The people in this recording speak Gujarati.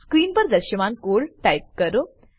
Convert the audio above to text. સ્ક્રીન પર દ્રશ્યમાન કોડ ટાઈપ કરો